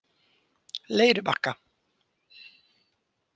Leirubakka